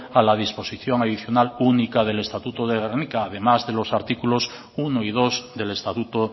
a la disposición adicional única del estatuto de gernika además de los artículos uno y dos del estatuto